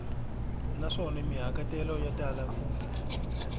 naswona mahikahatelo ya tala ku